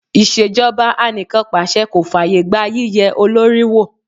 Ìṣèjọba anìkànpàse kò fàyè gba yíye olórí wò.